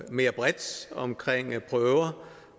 mere bredt om